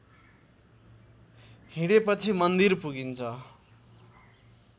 हिँडेपछि मन्दिर पुगिन्छ